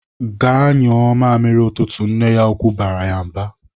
"Gaa nyụọ mamịrị ụtụtụ!" Nne ya ukwu barala ya mba.